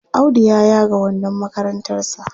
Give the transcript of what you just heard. Audu ya yaga wandon makarantarsa.